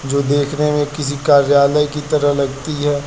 जो देखने में किसी कार्यालय की तरह लगती है।